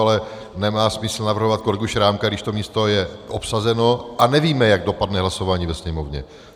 Ale nemá smysl navrhovat kolegu Šrámka, když to místo je obsazeno a nevíme, jak dopadne hlasování ve Sněmovně.